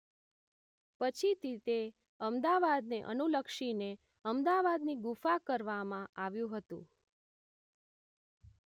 પછીથી તે અમદાવાદ ને અનુલક્ષીને અમદાવાદની ગુફા કરવામાં આવ્યું હતું